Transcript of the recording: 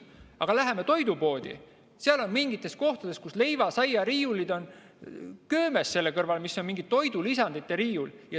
Aga läheme toidupoodi, seal on mingites kohtades nii, et leiva- ja saiariiulid on köömes selle kõrval, milline on mingi toidulisandite riiul.